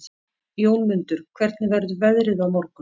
Jómundur, hvernig verður veðrið á morgun?